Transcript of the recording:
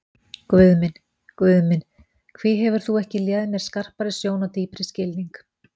Guð minn, Guð minn, hví hefur þú ekki léð mér skarpari sjón og dýpri skilning?